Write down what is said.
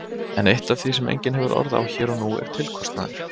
En eitt af því sem enginn hefur orð á hér og nú er tilkostnaður.